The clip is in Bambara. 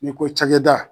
N'i ko cakɛda